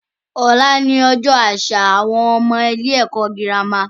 Ọ̀la ni Ọjọ́ àṣà àwọn ọmọ ilé ẹ̀kọ́ girama